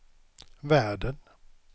världen